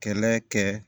Kɛlɛ kɛ